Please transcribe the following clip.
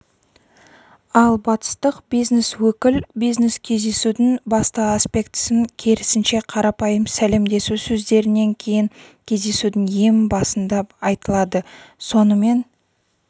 ал батыстық бизнес-өкіл бизнес кездесудің басты аспектісін керісінше қарапайым сәлемдесу сөздерінен кейін кездесудің ең басында айтылады сонымен